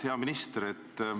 Hea minister!